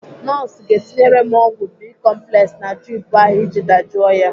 Nọọsụ ga-etinyere m ọgwụ bicomplex na drip ahụ iji dajụọ ya.